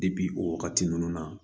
o wagati ninnu na